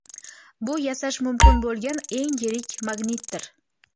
Bu yasash mumkin bo‘lgan eng yirik magnitdir.